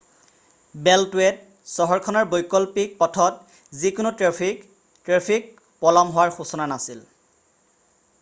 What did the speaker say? বেল্টৱেত চহৰখনৰ বৈকল্পিক পথত যিকোনো ট্ৰেফিক ট্ৰেফিক পলম হোৱাৰ সূচনা নাছিল৷